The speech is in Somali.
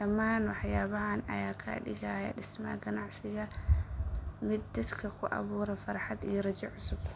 Dhammaan waxyaabahaan ayaa ka dhigaya dhismaha ganacsiga mid dadka ku abuura farxad iyo rajo cusub.